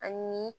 Ani